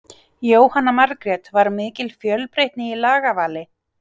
Jóhanna Margrét: Var mikil fjölbreytni í lagavali?